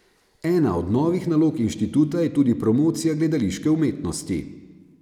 Ena od novih nalog inštituta je tudi promocija gledališke umetnosti.